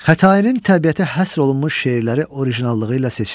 Xətainin təbiətə həsr olunmuş şeirləri orijinallığı ilə seçilir.